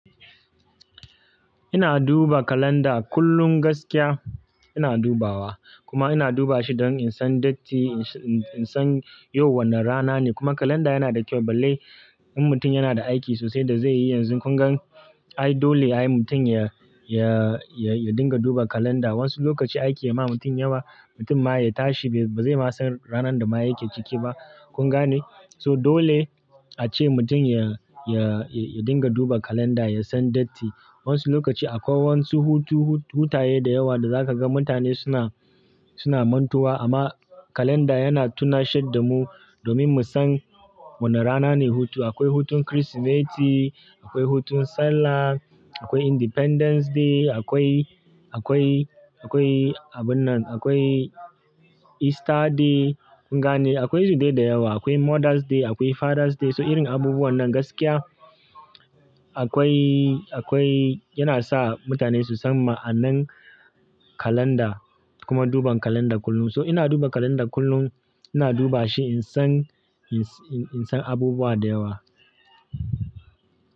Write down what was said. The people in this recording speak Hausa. Ina duba kalanda kullum gaskiya ina dubawa kuma ina duba shi don in san date, in san yau wane rana ne. Kuma kalanda yana da kyau balle in mutum yana da aiki sosai da zai yi yanzu. Kun gan ai dole ai mutum ya dinga duba kalanda. Wasu lokaci aiki ya ma mutum yawa, mutum ma ya tashi ba zai ma san ranar da ma yake ciki ba. Kun gane? So dole a ce mutum ya, ya, ya dinga duba kalanda, ya san datti. Wasu lokaci akwai wasu hutaye da yawa da za ka ga mutane suna, suna mantuwa amma kalanda yana tunashar da mu domin mu san wane rana ne hutu. Akwai hutun Kirsimeti, akwai hutun Sallah, akwai Independence Day, akwai, akwai, akwai abun nan, akwai Easter Day. Kun gane? Akwai su dai da yawa. Akwai Mothers Day, akwai Fathers Day. So irin abubuwan nan gaskiya akwai, akwai yana sa mutane su san ma'anan kalanda kuma duban kalanda kullum. So ina duba kalanda kullum ina duba shi in san, in san abubuwa da yawa.